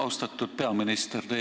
Austatud peaminister!